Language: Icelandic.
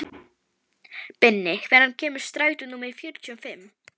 Binni, hvenær kemur strætó númer fjörutíu og fimm?